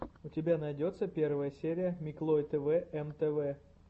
у тебя найдется первая серия миклой тэвэ эм тэ вэ